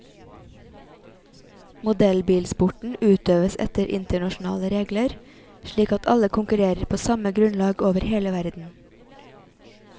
Modellbilsporten utøves etter internasjonale regler, slik at alle konkurrerer på samme grunnlag over hele verden.